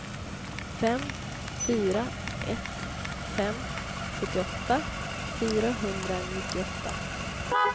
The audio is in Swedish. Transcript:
fem fyra ett fem sjuttioåtta fyrahundranittioåtta